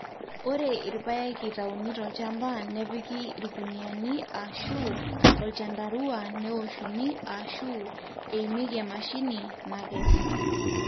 ore irpaek eitauni tolchamba nepiki irkuniyiani aashu olchandarua neoshuni aashu eimieki emashini nakes